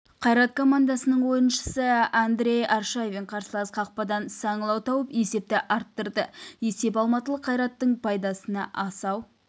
қайрат командасының ойыншысы андрей аршавин қарсылас қақпадан саңылау тауып есепті арттырды есеп алматылық қайраттың пайдасына асау